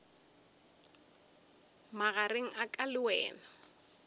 magareng a ka le wena